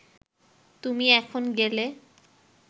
তুমি এখন গেলে